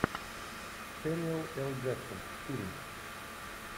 сэмюэл л джексон фильм